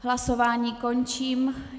Hlasování končím.